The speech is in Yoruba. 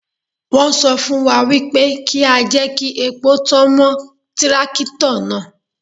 Wọ́n sọ fún wa wípé kí á jẹ́ kí epo tán mọ́ tírákítọ̀ náà.